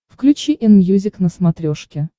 включи энмьюзик на смотрешке